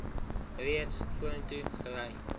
reeds vorentoe gery